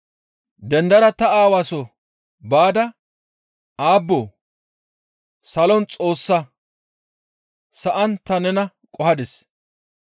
Dendada ta aawa soo baada aabboo! Salon Xoossaa, sa7an ta nena qohadis.›